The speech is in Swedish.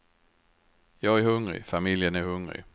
Jag är hungrig, familjen är hungrig.